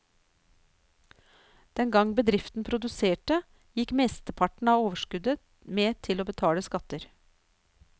Den gang bedriften produserte, gikk mesteparten av overskuddet med til å betale skatter.